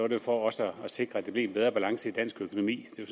det for også at sikre at der blev en bedre balance i dansk økonomi det